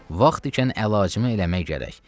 Vaxt ikən əlacımı eləmək gərək.